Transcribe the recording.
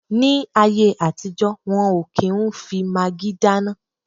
Ní ayé àtijọ́, wọ́n ò kí n fi magí dáná